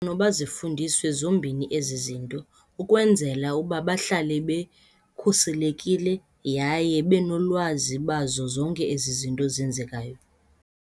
Noba zifundiswe zombini ezi zinto ukwenzela ukuba bahlale bekhuselekile yaye benolwazi bazo zonke ezi zinto zenzekayo.